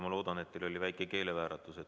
Ma loodan, et teil oli väike keelevääratus.